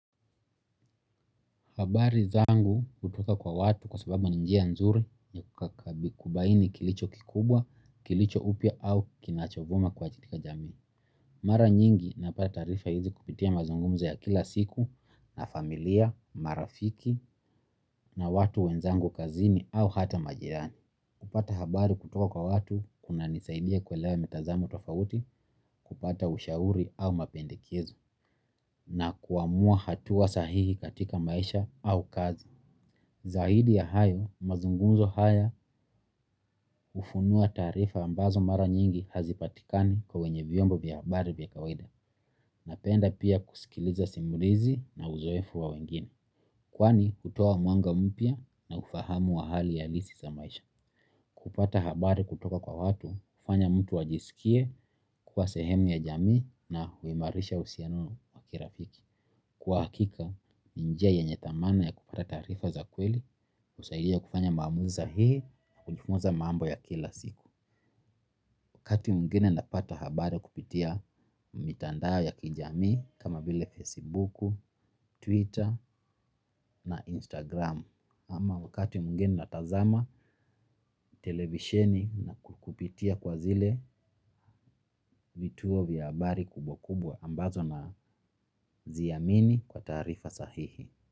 Habari zangu hutoka kwa watu kwa sababu ni njia nzuri ya kubaini kilicho kikubwa, kilicho upya au kinachovuma kwa katika jamii. Mara nyingi napata taarifa hizi kupitia mazungumzo ya kila siku na familia, marafiki na watu wenzangu kazini au hata majirani. Kupata habari kutoka kwa watu kuna nisaidia kuelewa mtazamo tofauti, kupata ushauri au mapendekezo. Na kuamua hatua sahihi katika maisha au kazi. Zaidi ya hayo mazungumzo haya hufunua taarifa ambazo mara nyingi hazipatikani kwa wenye vyombo vya habari vya kawaida. Napenda pia kusikiliza simulizi na uzoefu wa wengine. Kwani hutoa mwanga mpya na ufahamu wa hali alisi za maisha. Kupata habari kutoka kwa watu, kufanya mtu ajisikie, kuwa sehemu ya jami na huimarisha usiano wakirafiki. Kwa hakika njia yenye thamani ya kupata taarifa za kweli husaidia kufanya maamuzi sahihi na kujifuza mambo ya kila siku wakati mwingine napata habari kupitia mitandao ya kijamii kama vile fesibuku, twitter na instagram, ama wakati mwingine na tazama televisheni kupitia kwa zile vituo vya habari kubwa kubwa ambazo na ziamini kwa taarifa sahihi.